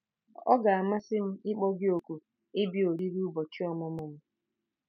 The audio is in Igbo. Ọ ga-amasị m ịkpọ gị òkù ịbịa oriri ụbọchị ọmụmụ m”